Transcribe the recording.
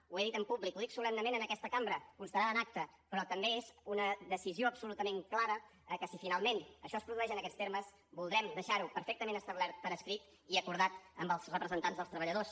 ho he dit en públic ho dic solemnement en aquesta cambra constarà en acta però també és una decisió absolutament clara que si finalment això es produeix en aquests termes voldrem deixar ho perfectament establert per escrit i acordat amb els representants dels treballadors